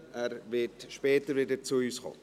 Er wird später wieder zu uns kommen.